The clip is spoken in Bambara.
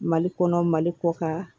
Mali kɔnɔ mali kɔ ka